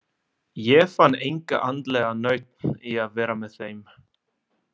Ég fann enga andlega nautn í að vera með þeim.